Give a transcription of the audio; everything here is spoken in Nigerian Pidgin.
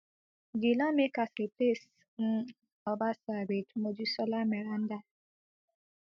di lawmakers replace um obasa wit mojisola meranda